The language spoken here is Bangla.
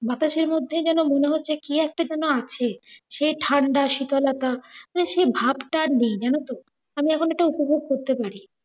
বাতসের মধ্যেই যেন মনে হচ্ছে কি একটা যেন আছে, সেই ঠাণ্ডা, শীতলটা মানে সেই ভাবটা আর নেই যেন তো। আমি এখন এটা উপভোগ করতে পারি।